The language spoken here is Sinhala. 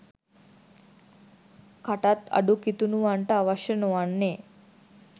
කටත් අඩු කිතුණුවන්ට අවශ්‍ය නොවන්නේ